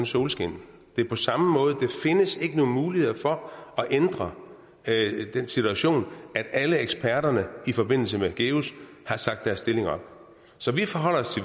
solskin og det er på samme måde der findes ikke nogen mulighed for at ændre den situation at alle eksperterne i forbindelse med geus har sagt deres stilling op så vi forholder os